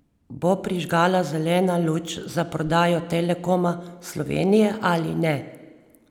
Bo prižgala zeleno luč za prodajo Telekoma Slovenije ali ne?